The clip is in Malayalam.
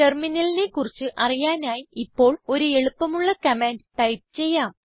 Terminalലിനെ കുറിച്ച് അറിയാനായി ഇപ്പോൾ ഒരു എളുപ്പമുള്ള കമാൻഡ് ടൈപ്പ് ചെയ്യാം